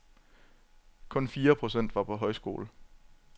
Kun fire procent var på højskole.